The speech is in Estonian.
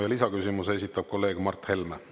Ja lisaküsimuse esitab kolleeg Mart Helme.